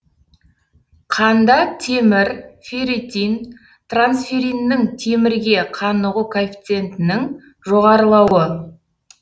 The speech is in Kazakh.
қанда темір ферритин трансферриннің темірге қанығу коэффициентінің жоғарылауы